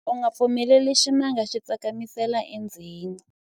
u nga pfumeleli ximanga xi tsakamisela endzeni